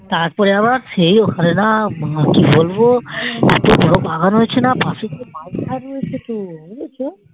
তারপরে আমরা খেয়ে ওখানে না আর কি বলবো এত বোরো বাগান হয়েছে না পশে মাঝখান হয়েছে তো